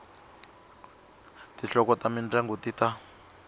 tinhloko ta mindyangu ti ta